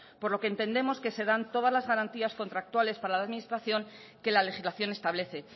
por lo que entendemos que se dan todas las garantías contractuales para la administración que la legislación establece